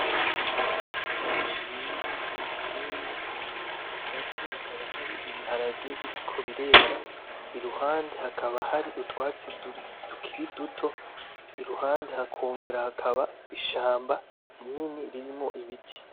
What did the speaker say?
Ibiti bishinze vyimisuna hagati hakaba hari ibiharage biriko birera iruhande hakaba hari utwatsi tukiri duto iruhande hakongera hakaba ishamba rinini ririmwo ibiti